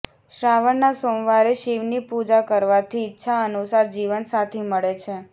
શ્રાવણના સોમવારે શિવની પૂજા કરવાથી ઈચ્છા અનુસાર જીવનસાથી મળે છે